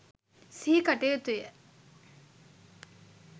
සිහිකට යුතුය.